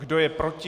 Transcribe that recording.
Kdo je proti?